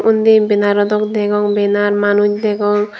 undi bannero dok degong banner manuj degong.